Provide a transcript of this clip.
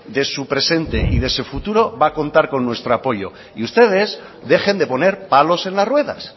de su presente y de su futuro va a contar con nuestro apoyo y ustedes dejen de poner palos en las ruedas